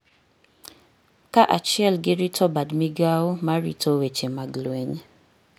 kaachiel gi rito bad migao ma rito weche mag lweny